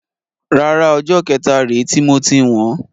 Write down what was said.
Rárá, ọjọ́ kẹta rè ti moti wọn.